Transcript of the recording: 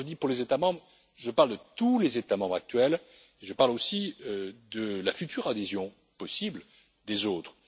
Quand je dis pour les États membres, je parle de tous les États membres actuels et je parle aussi de la future adhésion possible des autres.